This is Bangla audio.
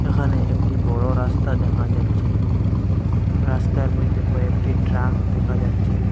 এখানে একটি বড় রাস্তা দেখা যাচ্ছে রাস্তার মইধ্যে কয়েকটি ট্রাক দেখা যাচ্ছে।